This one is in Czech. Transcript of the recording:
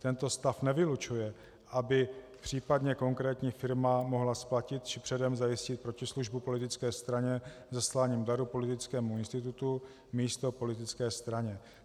Tento stav nevylučuje, aby případně konkrétní firma mohla splatit či předem zajistit protislužbu politické straně zasláním daru politickému institutu místo politické straně.